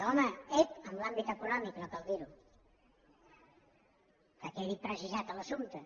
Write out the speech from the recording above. home ep en l’àmbit econòmic no cal dir ho que quedi precisat l’assumpte